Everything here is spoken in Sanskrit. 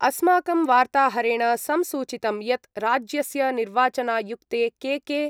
अस्माकं वार्ताहरेण संसूचितं यत् राज्यस्य निर्वाचनायुक्ते के.के.